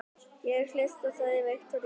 Ég hlusta, sagði Viktoría.